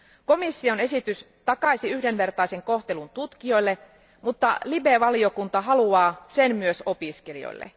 Komission esitys takaisi yhdenvertaisen kohtelun tutkijoille, mutta LIBE valiokunta haluaa sen myös opiskelijoille.